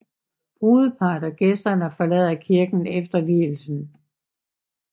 Brudeparret og gæsterne forlader kirken efter vielsen